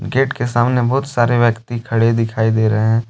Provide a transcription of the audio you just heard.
Gate के सामने बहुत सारे व्यक्ति खड़े दिखाई दे रहे हैं।